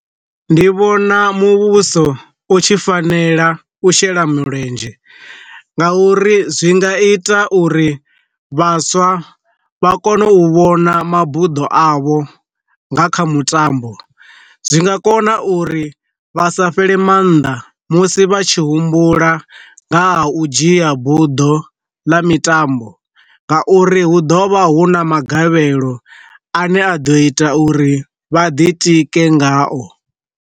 Ndi vhona muvhuso u tshi fanela u shela mulenzhe, nga uri zwi nga ita uri vhaswa vha kone u vhona mabuḓo avho nga kha mutambo, zwi nga kona uri vha sa fhele maanḓa musi vha tshi humbula nga ha u dzhia buḓo ḽa mitambo, nga uri hu ḓovha hu na magavhelo a ne a ḓo ita uri vha ḓi tike ngao.